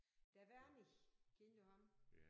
Der Wernich kendte du ham?